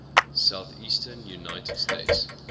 southeastern united states